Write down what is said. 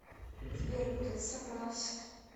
сбер куда ты собрался